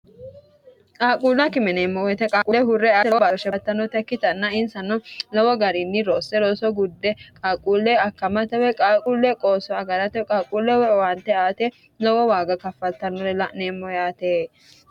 qaaquulla kime yineemmo woyiite qaaquule hurre ate oo barshebttnnote kkitanna insanno lowo gariinni rosse roso gudde qaaquulle akkamatewe qaaquulle qooso agaratewe qaaqquulle woowaante aate lowo waaga kaffattannore la'neemmo yaate